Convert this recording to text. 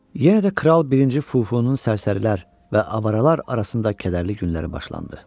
Yenə də kral birinci Fufunun sərsərilər və avaralar arasında kədərli günləri başlandı.